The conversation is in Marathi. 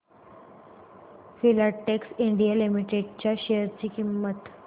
फिलाटेक्स इंडिया लिमिटेड च्या शेअर ची किंमत